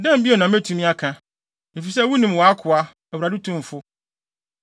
“Dɛn bio na metumi aka? Efisɛ wunim wʼakoa, Awurade Tumfo.